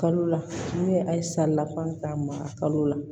Kalo la n'u ye a ye saridafan k'a mara kalo la